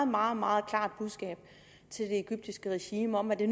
meget meget klart budskab til det egyptiske regime om at det